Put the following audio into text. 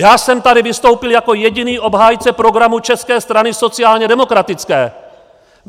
Já jsem tady vystoupil jako jediný obhájce programu České strany sociálně demokratické.